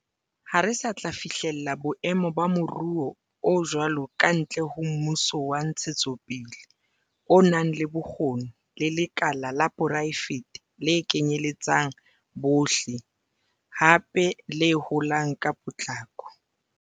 Ha re sa tla fihlela boemo ba moruo o jwalo kantle ho mmuso wa ntshetsopele o nang le bokgoni le lekala la poraefete le kenyeletsang bohle, hape le holang ka potlako.